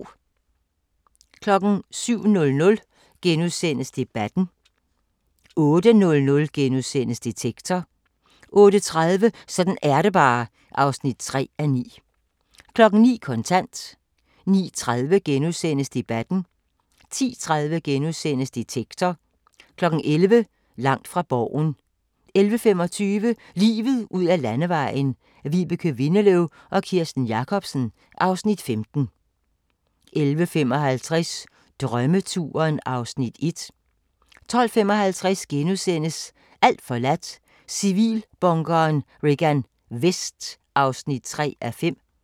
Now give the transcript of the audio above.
07:00: Debatten * 08:00: Detektor * 08:30: Sådan er det bare (3:9) 09:00: Kontant 09:30: Debatten * 10:30: Detektor * 11:00: Langt fra Borgen 11:25: Livet ud ad Landevejen: Vibeke Windeløw og Kirsten Jacobsen (Afs. 15) 11:55: Drømmeturen (Afs. 1) 12:55: Alt forladt – Civilbunkeren Regan Vest (3:5)*